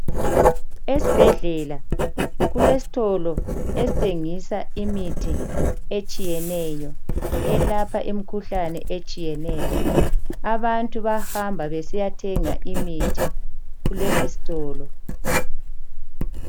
Esibhedlela kulesitolo esithengisa imithi etshiyeneyo elapha imikhuhlane etshiyeneyo, abantu bahamba besiyathenga imithi kulesi sitolo.